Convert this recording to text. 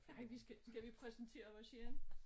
Ej vi skal skal vi præsentere os igen?